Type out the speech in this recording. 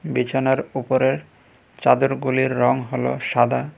বিছানার উপরের চাদরগুলির রং হলো সাদা।